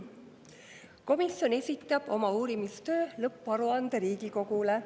Komisjon esitab oma uurimistöö lõpparuande Riigikogule.